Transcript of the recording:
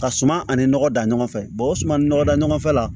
Ka suma ani nɔgɔ dan ɲɔgɔn fɛ o suman ni nɔgɔ da ɲɔgɔn fɛ la